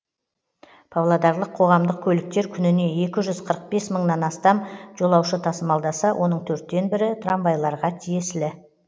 павлодарлық қоғамдық көліктер күніне екі жүз қырық бес мыңнан астам жолаушы тасымалдаса оның төрттен бірі трамвайларға тиесілі